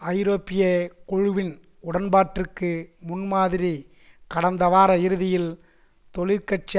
ஐரோப்பிய குழுவின் உடன்பாட்டிற்கு முன்மாதிரி கடந்த வார இறுதியில் தொழிற்கட்சி